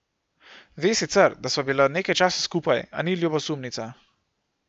Ve sicer, da sva bila nekaj časa skupaj, a ni ljubosumnica.